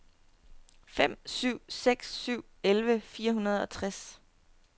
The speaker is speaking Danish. fem syv seks syv elleve fire hundrede og tres